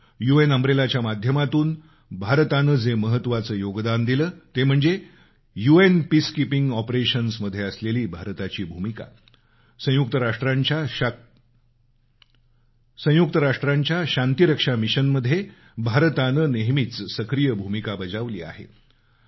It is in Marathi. यू एन अम्ब्रेलाच्या माध्यमातून भारतानं जे महत्वाचं योगदान दिलं ते म्हणजे यू एन पीसकीपिंग ऑपरेशन्समध्ये असलेली भारताची भूमिका संयुक्त राष्ट्रांच्या शांतीरक्षा मिशनमध्ये भारतानं नेहमीच सक्रीय भूमिका बजावली आहे